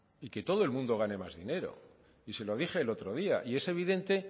y que todo el mundo gane más dinero y se lo dije el otro día y es evidente